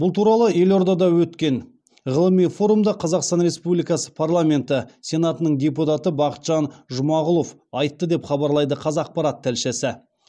бұл туралы елордада өткен ғылыми форумда қазақстан республикасы парламенті сенатының депутаты бақытжан жұмағұлов айтты деп хабарлайды қазақпарат тілшісі